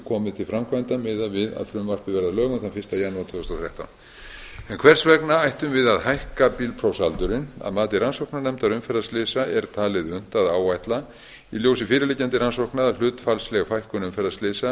komið til framkvæmda miðað við að frumvarpið verði að lögum þann fyrsta janúar tvö þúsund og þrettán hvers vegna ættum við að hækka bílprófsaldurinn að mati rannsóknarnefndar umferðarslysa er talið unnt að áætla í ljósi fyrirliggjandi rannsókna að hlutfallsleg fækkun umferðarslysa